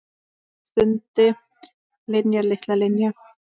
Hann stundi: Linja, litla Linja.